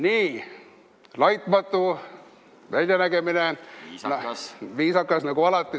Nii, laitmatu väljanägemine, viisakas nagu alati.